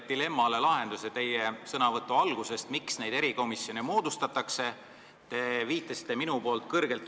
Ma sain sellele küsimusele, miks neid erikomisjone moodustatakse, tegelikult vastuse teie sõnavõtu algusest.